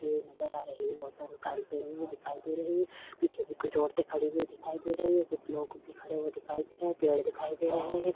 नजर आ रही है औरतें भी साड़ी पहनी हुई दिखाई दे रही पीछे भी कुछ औरतें खड़ी हुई दिखाई दे रही हैं कुछ लोग भी खड़े हुए दिखाई दे रहे हैं पेड़ दिखाई दे रहे हैं।